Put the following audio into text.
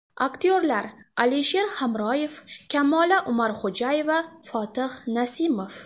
Aktyorlar Alisher Hamroyev, Kamola Umarxo‘jayeva, Fotih Nasimov.